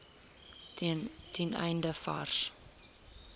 ten einde vars